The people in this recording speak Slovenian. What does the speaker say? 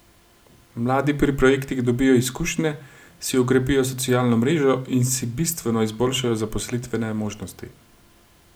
Mladi pri projektih dobijo izkušnje, si okrepijo socialno mrežo in si bistveno izboljšajo zaposlitvene možnosti.